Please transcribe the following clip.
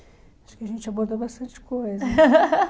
Acho que a gente abordou bastante coisa.